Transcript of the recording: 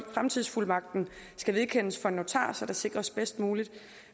fremtidsfuldmagten skal vedkendes for en notar så der sikres bedst muligt